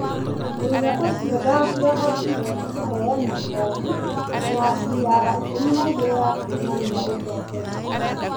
Mũira ũcio ndangĩahotire kũheana bomu ya CR12 ya kuonania ũtongoria.